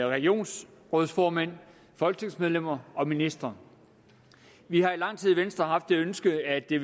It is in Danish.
regionsrådsformænd folketingsmedlemmer og ministre vi har i lang tid i venstre haft det ønske at det